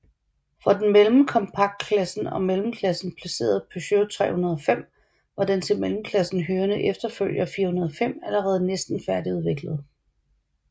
For den mellem kompaktklassen og mellemklassen placerede Peugeot 305 var den til mellemklassen hørende efterfølger 405 allerede næsten færdigudviklet